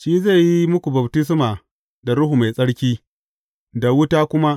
Shi zai yi muku baftisma da Ruhu Mai Tsarki da wuta kuma.